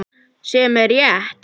Sem er rétt.